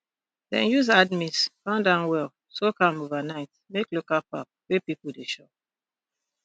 dem use hard maize pound am well soak am overnight make local pap wey people dey chop